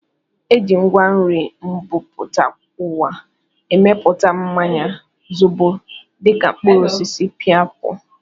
Eji ngwa nri mbumputauwa emeputa mmanya zobo dịka mkpụrụ osisi painapu